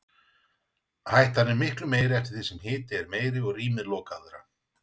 Hættan er meiri eftir því sem hiti er meiri og rýmið lokaðra.